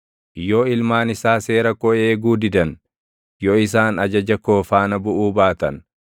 “Yoo ilmaan isaa seera koo eeguu didan, yoo isaan ajaja koo faana buʼuu baatan,